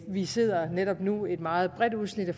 vi sidder netop nu et meget bredt udsnit af